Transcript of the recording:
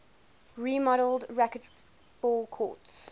remodeled racquetball courts